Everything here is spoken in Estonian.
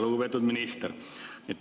Lugupeetud minister!